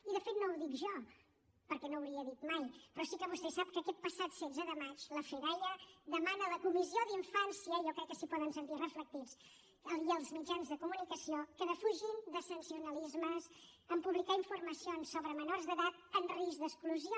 i de fet no ho dic jo perquè no ho hauria dit mai però sí que vostè sap que aquest passat setze de maig la fedaia va demanar a la comissió d’infància i jo crec que s’hi poden sentir reflectits i als mitjans de comunicació que defugin sensacionalismes en publicar informacions sobre menors d’edat en risc d’exclusió